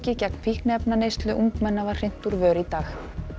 gegn fíkniefnaneyslu ungmenna var hrint úr vör í dag